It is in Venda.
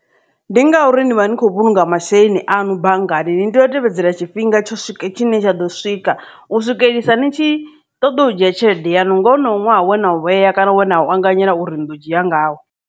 Ndi ngauri ni vha ni khou vhulunga masheleni anu banngani ni tea u tevhedzela tshifhinga tsho swike tshine tsha ḓo swika u swikelelisa ni tshi ṱoḓa u dzhia tshelede yanu nga honoyo ṅwaha we na u vhea kana we na u anganyela uri ni ḓo dzhia ngawo.